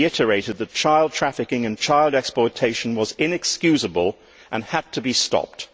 He reiterated that child trafficking and child exploitation were inexcusable and had to be stopped.